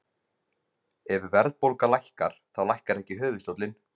Ef verðbólga lækkar, þá lækkar ekki höfuðstóllinn.